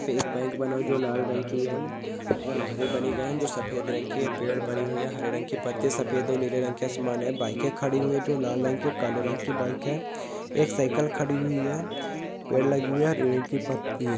एक बैंक बना है जो लाल रंग की है और घर बने गए है जो सफेद रंग है पेड़ बनी हुई है हरे रंग की सफ़ेद और नीले रंग की आसमान है बाइके खड़ी हुई जो लाल रंग की और काले रंग की बाइक है एक साइकिल खड़ी हुई है पेड़ लगी हुई है ।